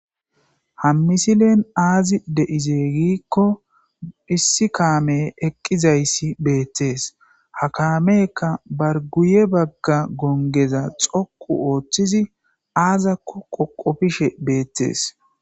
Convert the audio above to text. Ha misilen aazi de7izeeygikko hissi kaame eqqizayssi beettees ha kaameka barguye bagga gongeza xoqu ooththizi aazakko qoqofishe beettees.